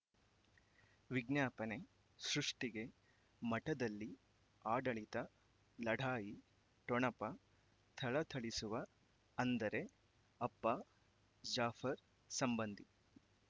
ವಿಜ್ಞಾಪನೆ ಸೃಷ್ಟಿಗೆ ಮಠದಲ್ಲಿ ಆಡಳಿತ ಲಢಾಯಿ ಠೊಣಪ ಥಳಥಳಿಸುವ ಅಂದರೆ ಅಪ್ಪ ಜಾಫರ್ ಸಂಬಂಧಿ